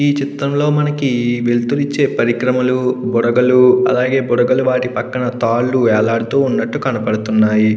ఈ చిత్రంలో మనకి వెళ్తురుని ఇచ్చే పరికరంలు బుడగలు అలాగే బుడగలు వాటి పక్కన తళ్లు వేలాడుతూ కనపడుతున్నాయి.